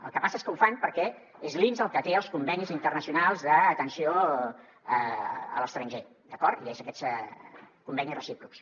el que passa és que ho fan perquè és l’inss el que té els convenis internacionals d’atenció a l’estranger d’acord i són aquests convenis recíprocs